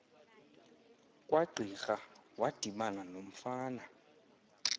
kwagqirha wadibana nomfana